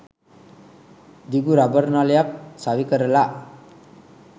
දිග රබර් නලයක් සවි කරලා